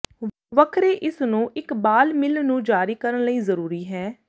ਵੱਖਰੇ ਇਸ ਨੂੰ ਇੱਕ ਬਾਲ ਮਿੱਲ ਨੂੰ ਜਾਰੀ ਕਰਨ ਲਈ ਜ਼ਰੂਰੀ ਹੈ